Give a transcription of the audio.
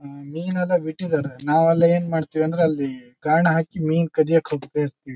ಹ್ಮ್ಮ್ಮ್ ಮಿನ ಎಲ್ಲ ಬಿಟ್ಟಿದ್ದಾರೆ ನಾವ್ ಎಲ್ಲ ಏನ್ ಮಾಡ್ತೀವಿ ಅಂದ್ರೆ ಗಾಣ ಹಾಕಿ ಮಿನ್ ಕದಿಯೋಕ್ಕೆ ಹೋಗ್ತಾಇರ್ತಿವಿ.